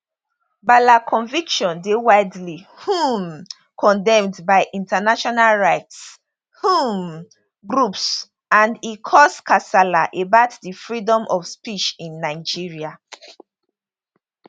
bala conviction dey widely um condemned by international rights um groups and e cause kasala about di freedom of speech in nigeria